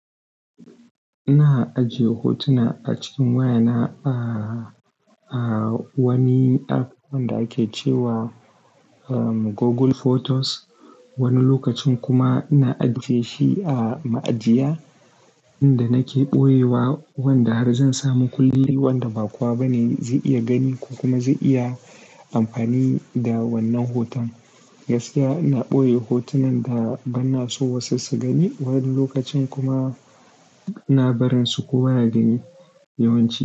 Ina ajiye hotuna a cikin wayana ba a wani app wanda ake ce wa Google Photos. Wani lokacin kuma ina ajiye shi a ma'ajiya inda nake ɓoye wa wanda har zan samu kulli wanda ba kuwa bane zai iya gani ko kuma zai iya amfani da wannan hoton. Gaskiya ina ɓoye hotunan da bana so wasu su gani. Wani lokacin kuma ina barin su kowa ya gani yawanci.